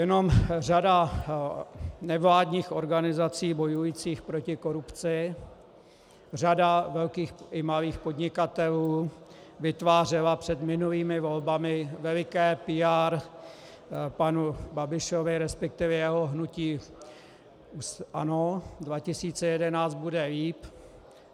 Jenom - řada nevládních organizací bojujících proti korupci, řada velkých i malých podnikatelů vytvářela před minulými volbami veliké PR panu Babišovi, respektive jeho hnutí ANO 2011, bude líp.